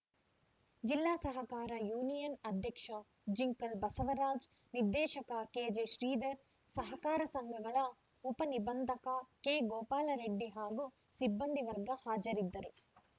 ಜಿಲ್ಲಾ ಸಹಕಾರ ಯೂನಿಯನ್‌ ಅಧ್ಯಕ್ಷ ಜಿಂಕಲ್‌ ಬಸವರಾಜ್‌ ನಿರ್ದೇಶಕ ಕೆಜೆಶ್ರೀಧರ್‌ ಸಹಕಾರ ಸಂಘಗಳ ಉಪನಿಬಂಧಕ ಕೆಗೋಪಾಲರೆಡ್ಡಿ ಹಾಗೂ ಸಿಬ್ಬಂದಿ ವರ್ಗ ಹಾಜರಿದ್ದರು